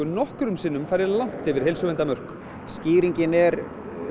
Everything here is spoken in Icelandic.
nokkrum sinnum farið langt yfir heilsuverndarmörk skýringin er